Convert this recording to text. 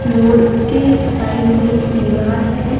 Load के side में दीवाल है।